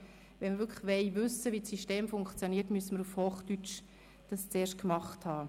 Wenn wir aber wissen wollen, wie das System funktioniert, müssen wir erste Tests auf Hochdeutsch durchgeführt haben.